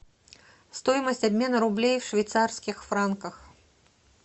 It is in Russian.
стоимость обмена рублей в швейцарских франках